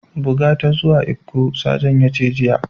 Buga ta zuwa lkko! Sajan ya ce jiya.